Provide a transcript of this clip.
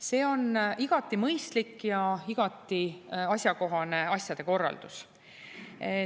See on igati mõistlik ja igati asjakohane asjade korraldus.